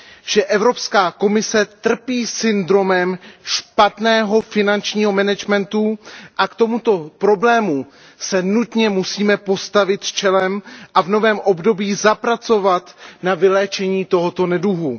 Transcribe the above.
že Evropská komise trpí syndromem špatného finančního managementu, a k tomuto problému se nutně musíme postavit čelem a v novém období zapracovat na vyléčení tohoto neduhu.